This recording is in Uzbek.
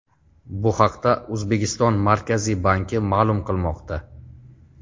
Bu haqda O‘zbekiston Markaziy banki ma’lum qilmoqda .